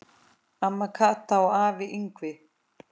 Amma Kata og afi Yngvi.